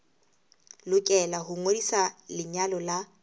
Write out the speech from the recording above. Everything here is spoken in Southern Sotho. lokela ho ngodisa lenyalo la